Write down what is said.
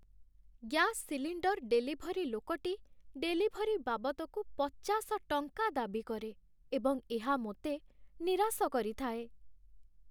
Gas cylinder delivery ଲୋକଟି delivery ବାବଦକୁ ପଚାଶ ଟଙ୍କା ଦାବି କରେ, ଏବଂ ଏହା ମୋତେ ନିରାଶ କରିଥାଏ।